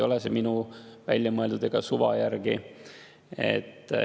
See ei ole minu välja mõeldud ega toimu suva järgi.